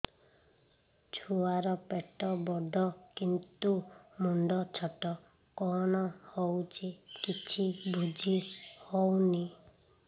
ଛୁଆର ପେଟବଡ଼ କିନ୍ତୁ ମୁଣ୍ଡ ଛୋଟ କଣ ହଉଚି କିଛି ଵୁଝିହୋଉନି